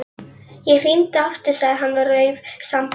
Ég hringi aftur sagði hann og rauf sambandið.